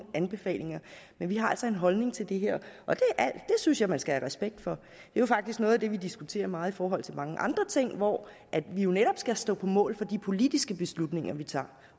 anbefalinger men vi har altså en holdning til det her og det synes jeg man skal have respekt for det er faktisk noget af det vi diskuterer meget i forhold til mange andre ting hvor vi jo netop skal stå på mål for de politiske beslutninger vi tager